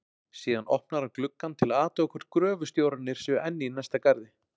Síðan opnar hann gluggann til að athuga hvort gröfustjórarnir séu enn í næsta garði.